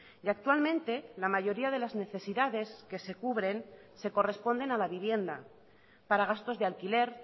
y actualmente la mayoría de las necesidades que se cubren se corresponden a la vivienda para gastos de alquiler